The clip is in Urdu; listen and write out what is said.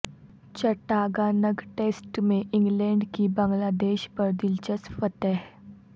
چٹاگانگ ٹیسٹ میں انگلینڈ کی بنگلہ دیش پر دلچسپ فتح